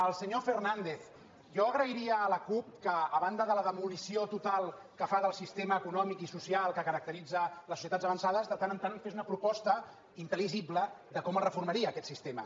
al senyor fernàndez jo agrairia a la cup que a banda de la demolició total que fa del sistema econòmic i social que caracteritza les societats avançades de tant en tant fes una proposta intelligible de com el reformaria aquest sistema